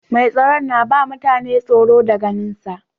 Mai tsaron na ba mutane tsoro da ganin sa.